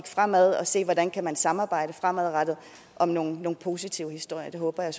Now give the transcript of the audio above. fremad og se hvordan man kan samarbejde fremadrettet om nogle positive historier det håber jeg